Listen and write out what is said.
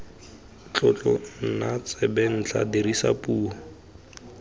tlotlo nna tsebentlha dirisa puo